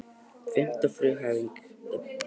Fimmta frumhæfing Evklíðs.